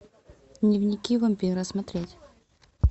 дневники вампира смотреть